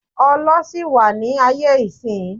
Ọlọ ṣì wà ni aye isin